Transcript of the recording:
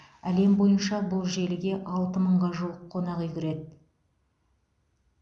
әлем бойынша бұл желіге алты мыңға жуық қонақүй кіреді